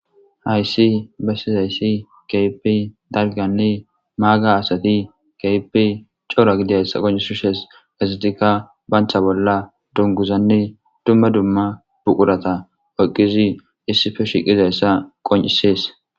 hayssi bessizayssi keipi dalganne maaga asati keypi cora gidayssa qoncisishes gesitikka bancha bolla dunguzanne dumma dumma buqurata oyqqizi issife shiqizayssa qoncisees